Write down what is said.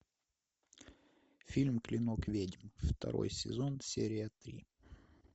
фильм клинок ведьм второй сезон серия три